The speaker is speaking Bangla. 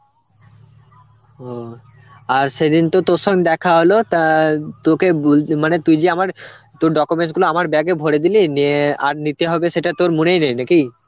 ও আর সেদিন তো তোর সঙ্গে দেখা হল তা তোকে বল~ মানে তুই যদি আমার তোর documents গুলো আমার bag এ ভরে দিলি নিয়ে আর নিতে হবে সেটা তোর মনেই নেই, নাকি?